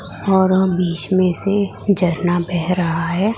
और बीच में से झरना बह रहा है।